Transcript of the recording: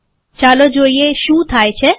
ચાલો જોઈએ શું થાય છે